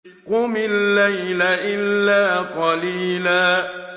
قُمِ اللَّيْلَ إِلَّا قَلِيلًا